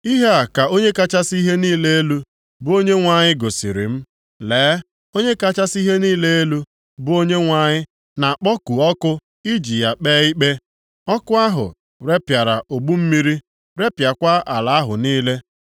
Ihe a ka Onye kachasị ihe niile elu, bụ Onyenwe anyị gosiri m: Lee, Onye kachasị ihe niile elu, bụ Onyenwe anyị na-akpọku ọkụ iji ya kpee ikpe. Ọkụ ahụ repịara ogbu mmiri, repịakwa ala ahụ niile.